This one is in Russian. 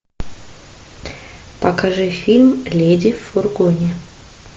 покажи фильм леди в фургоне